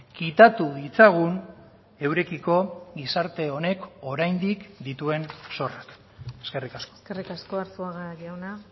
kitatu ditzagun eurekiko gizarte honek oraindik dituen zorrak eskerrik asko eskerrik asko arzuaga jauna